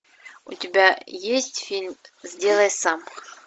у тебя есть фильм сделай сам